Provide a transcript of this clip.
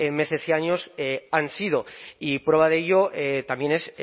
meses y años han sido y prueba de ello también es